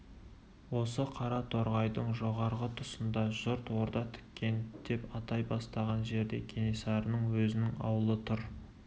осы қара торғайдың жоғарғы тұсында жұрт орда тіккен деп атай бастаған жерде кенесарының өзінің аулы тұр